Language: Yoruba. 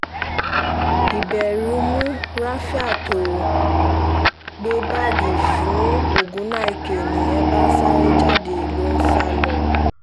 ìbẹ̀rù mú rafiat ó gbé báàgì fún ògúnnáìkè nìyẹn bá sáré jáde ló ń sá lọ